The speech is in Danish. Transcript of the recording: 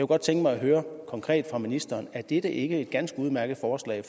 godt tænke mig at høre konkret fra ministeren er dette ikke et ganske udmærket forslag